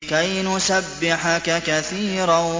كَيْ نُسَبِّحَكَ كَثِيرًا